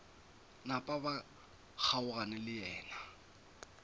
napa ba kgaogana le yena